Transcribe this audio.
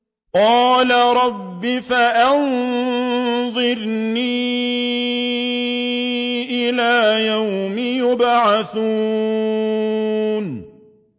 قَالَ رَبِّ فَأَنظِرْنِي إِلَىٰ يَوْمِ يُبْعَثُونَ